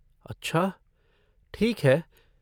अच्छा ठीक है।